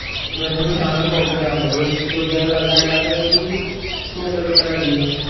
എന്നിട്ടു സാധനം നോക്കുക, നമക്ക് നല്ലതല്ലാന്നു ഉണ്ടെങ്കിൽ ചെയ്യാണ്ട് return അടിക്കുക